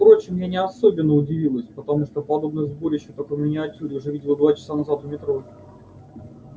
впрочем я не особенно удивилась потому что подобное сборище только в миниатюре уже видела часа два назад у метро